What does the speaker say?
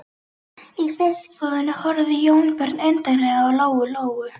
Í fiskbúðinni horfði Jónbjörn undarlega á Lóu Lóu.